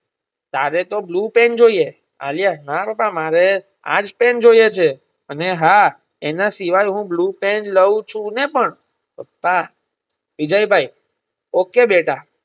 તરેતો blue pen જોઈએ આલ્યાના પપ્પા મારે આજ પેન જોઈએ છે. અને હા એના સિવાય હું blue પેન લવ છુંને પણ પપ્પા વિજયભાઈ okay બેટા